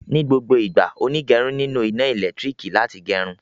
Ní gbogbo ìgbà, onígẹrun nílò iná elekitiriki láti gerun